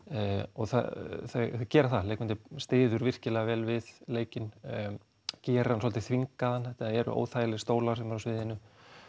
og þau gera það leikmyndin styður virkilega vel við leikinn gerir hann svolítið þvingaðan þetta eru óþægilegir stólar sem eru á sviðinu